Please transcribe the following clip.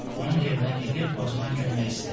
Onun evinə gedib qocadan kömək istədi.